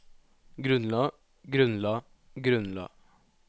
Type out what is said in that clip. grunnla grunnla grunnla